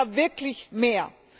Es braucht da wirklich mehr.